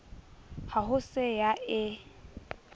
ha ho se ya e